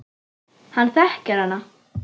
Hann þekkir hana.